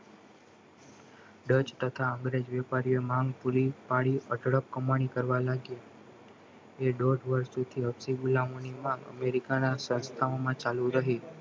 Dutch તથા અંગ્રેજી વેપારીએ માંગ પૂરી પાડી અઢળક કમાણી કરવા લાગ્યો એ દોઢ વર્ષ સુધી હસબી ગુલામઓ ની માંગ અમેરિકાના સંસ્થામાં ચાલુ રહી